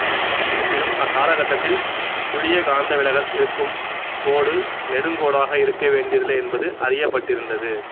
இருப்பினும் அக்காலகட்டத்தில் சுழிய காந்த விலகல் இருக்கும் கோடு நெடுங்கோடாக இருக்க வேண்டியதில்லை என்பது அறியப்பட்டிருந்தது